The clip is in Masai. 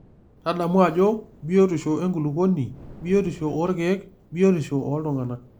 Tadamu ajo; Biotisho enkulukuoni, biotisho oorkiek biotisho ooltung'ana.